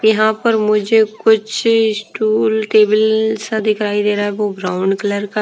यहां पर मुझे कुछ स्टूल टेबल सा दिखाई दे रा है। वो ब्राउन कलर का--